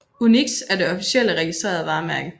UNIX er det officielle registrerede varemærke